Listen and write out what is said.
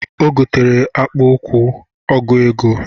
Ọ gotere akpụ ụkwụ ọgụ ego